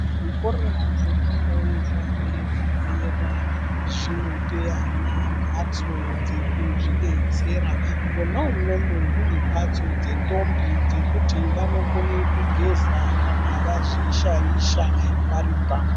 Zvikora zvepadera-dera zvinope ana mhatso dzekuzvidetsera mwonaumwomwo mune mhatso dzendombi dzekuti vanokone kugeza kana vazvishaisha vari panguwa.